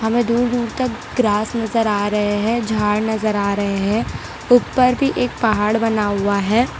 हमें दूर दूर तक ग्रास नजर आ रहे हैं झाड़ नजर आ रहे हैं उप्पर भी एक पहाड़ बना हुआ है।